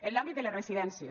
en l’àmbit de les residències